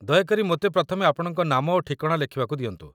ଦୟାକରି ମୋତେ ପ୍ରଥମେ ଆପଣଙ୍କ ନାମ ଓ ଠିକଣା ଲେଖିବାକୁ ଦିଅନ୍ତୁ